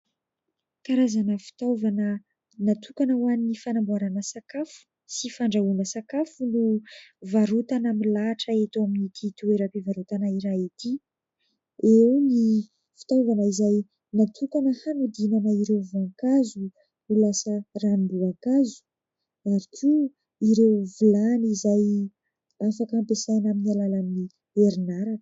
Karazana fitaovana natokana ho an'ny fanamboarana sakafo sy fandrahoana sakafo no varotana milahatra eto amin'ity toera-pivarotana iray ity. Eo ny fitaovana izay natokana hanodinana ireo voankazo ho lasa ranom-boankazo ary koa ireo vilany izay afaka hampiasaina amin'ny alalan'ny herinaratra.